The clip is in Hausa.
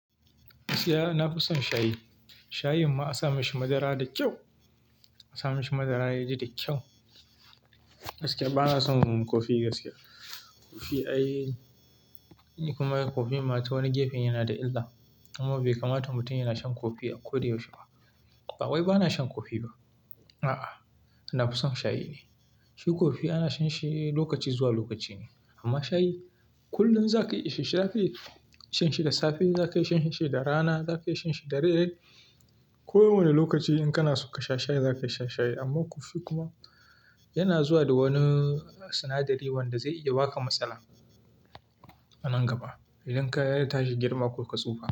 Na fi son shayi. Shayin ma a sa mishi madara da kyau, a sa mishi madara yaji da kyau. Gaskiya bana son kofi gaskiya. Kofi ai, ni kuma kofin ma ta wani gefe yana da illa kuma bai kamata mutum yana shan kofi a ko da yaushe ba. Ba wai bana shan kofi ba? A'a, na fi son shayi ne. Shi kofi ana shan shi lokaci zuwa lokaci ne amma shayi kullum za ka yi isha-she. Za ka iya shan shi da safe, za ka iya shan shi da rana, za ka iya shan shi da dare. Ko wane lokaci in kana so ka sha shayi za ka sha shayi amma kofi kuma yana zuwa da wani sinadari wanda zai iya baka matsala a nan gaba idan ka yadda tashi girma ko ka tsufa.